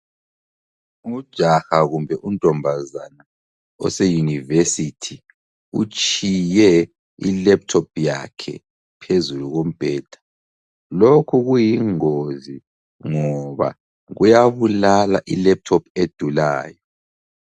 Ujaha kumbe untombazana ose University utshiye ilaptop yakhe phezulu kombheda lokhu kuyingozi ngoba kuyabulala ilaptop edulayo.